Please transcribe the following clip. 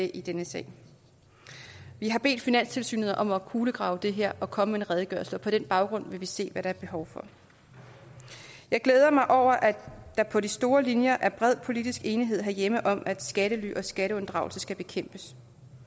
i denne sag vi har bedt finanstilsynet om at kulegrave det her og komme med en redegørelse og på den baggrund vil vi se hvad der er behov for jeg glæder mig over at der på de store linjer er bred politisk enighed herhjemme om at skattely og skatteunddragelse skal bekæmpes